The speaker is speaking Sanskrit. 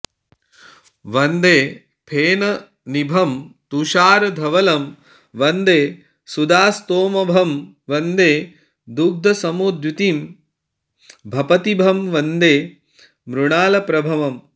वन्दे फेननिभं तुषारधवलं वन्दे सुधास्तोमभं वन्दे दुग्धसमद्युतिं भपतिभं वन्दे मृणालप्रभम्